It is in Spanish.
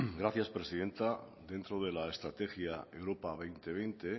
gracias presidenta dentro de la estrategia europa dos mil veinte